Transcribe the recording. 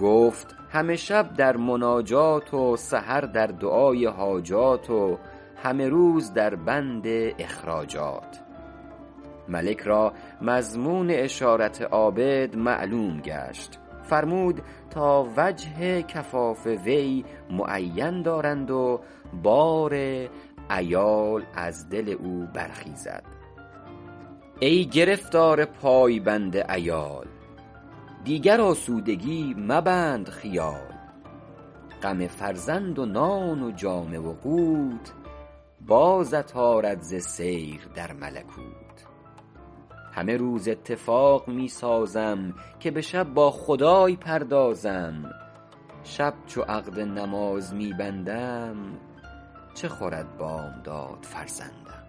گفت همه شب در مناجات و سحر در دعای حاجات و همه روز در بند اخراجات ملک را مضمون اشارت عابد معلوم گشت فرمود تا وجه کفاف وی معین دارند و بار عیال از دل او برخیزد ای گرفتار پای بند عیال دیگر آسودگی مبند خیال غم فرزند و نان و جامه و قوت بازت آرد ز سیر در ملکوت همه روز اتفاق می سازم که به شب با خدای پردازم شب چو عقد نماز می بندم چه خورد بامداد فرزندم